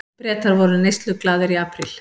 Bretar voru neysluglaðir í apríl